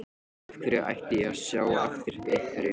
Af hverju ætti ég að sjá eftir einhverju?